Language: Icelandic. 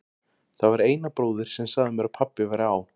Það var Einar bróðir sem sagði mér að pabbi væri á